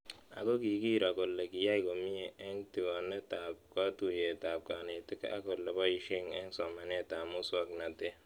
Ako kikiro kole kiyai komie eng' tig'onet ab katuyet ab kanetik ak ole poishe eng' somanet ab muswog'natet